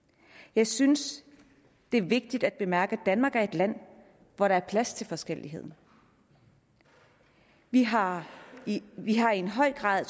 jeg synes det er vigtigt at bemærke at danmark er et land hvor der er plads til forskellighed vi har vi har en høj grad af